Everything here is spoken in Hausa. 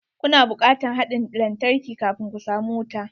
Ku na bukatar haɗin lantarki kafun ku samu wuta.